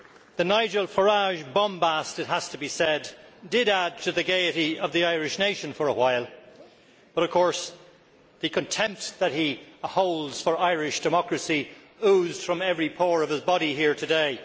The Nigel Farage bombast, it has to be said, did add to the gaiety of the Irish nation for a while, but of course the contempt that he holds for Irish democracy oozed from every pore of his body here today.